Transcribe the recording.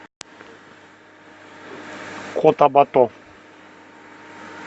котабато